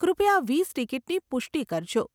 કૃપયા વીસ ટીકીટની પુષ્ટિ કરજો.